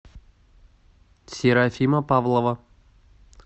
серафима павлова